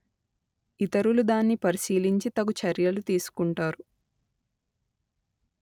ఇతరులు దాన్ని పరిశీలించి తగు చర్యలు తీసుకుంటారు